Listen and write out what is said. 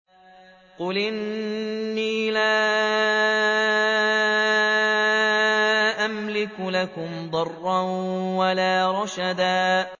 قُلْ إِنِّي لَا أَمْلِكُ لَكُمْ ضَرًّا وَلَا رَشَدًا